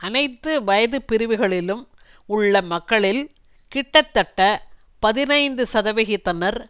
அனைத்து வயது பிரிவுகளிலும் உள்ள மக்களில் கிட்டத்தட்ட பதினைந்து சதவிகிதத்தினர்